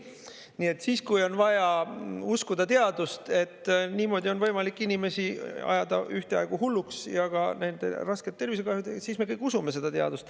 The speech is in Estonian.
Nii et kui on vaja uskuda teadust, et niimoodi on võimalik inimesi ajada hulluks ja ühtaegu nendele rasket tervisekahju teha, siis me kõik usume teadust.